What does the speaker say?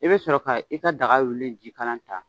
I bɛ sɔrɔ ka i ka daga willi jikalan ta.